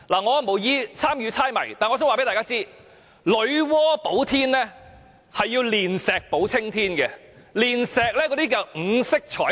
我無意參與這個猜謎遊戲，只想告訴大家，女媧補天是要煉石補青天的，而所煉的是五色彩石。